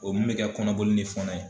O min mɛ kɛ kɔnɔboli ni fɔnɔ ye.